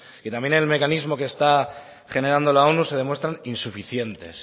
y también en el mecanismo que está generando la onu se demuestran insuficientes